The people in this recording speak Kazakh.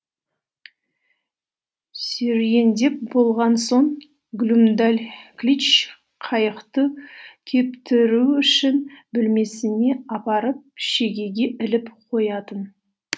серуендеп болған соң глюмдальклич қайықты кептіру үшін бөлмесіне апарып шегеге іліп қоятын